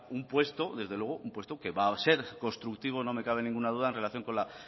un puesto desde luego un puesto que va a ser constructivo no me cabe ninguna duda en relación con la